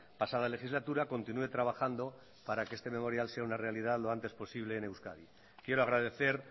pasada legislatura continúe trabajando para que este memorial sea una realidad lo antes posible en euskadi quiero agradecer